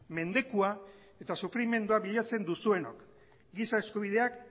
mendekua eta sufrimendua bilatzen duzuenok giza eskubideak